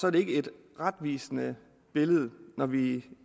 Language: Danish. er det ikke et retvisende billede når vi